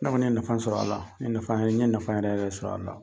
Ne kɔni ye nafa sɔrɔ a la . N ye nafa yɛrɛ, n ye nafa yɛrɛ yɛrɛ de sɔrɔ a la.